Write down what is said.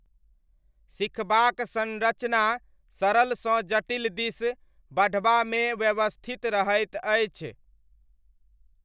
सिखबाक संरचना सरलसँ जटिल दिस बढ़बामे व्यवस्थित रहैत अछि।